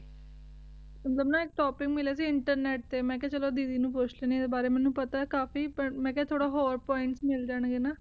ਮੇਨੂ ਨਾ ਏਇਕ ਟੋਪਿਕ ਮਿਲਯਾ ਸੀ internet ਤੇ ਮੈਂ ਖਯਾ ਚਲੋ ਦੀਦੀ ਨੂ ਪੋਚ ਲੈਣੇ ਏਡੇ ਬਾਰੇ ਮੇਨੂ ਪਤਾ ਆਯ ਕਾਫੀ ਪਰ ਮੈਂ ਖਯਾ ਥੋਰਾ ਹੋਰ points ਮਿਲ ਜਾਂ ਗੇ ਨਾ ਹਾਂ